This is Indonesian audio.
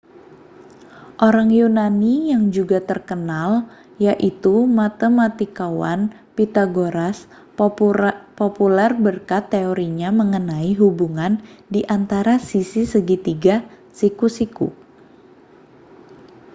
orang yunani yang juga terkenal yaitu matematikawan pythagoras populer berkat teorinya mengenai hubungan di antara sisi segitiga siku-siku